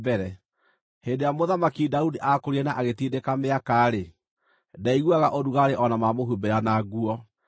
Hĩndĩ ĩrĩa Mũthamaki Daudi aakũrire na agatindĩka mĩaka-rĩ, ndaiguaga ũrugarĩ o na mamũhumbĩra na nguo.